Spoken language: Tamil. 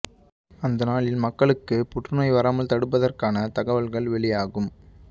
அந்த நாளில் மக்களுக்கு புற்று நோய் வராமல் தடுப்பதற்கான தகவல்கள் வெளியாகும்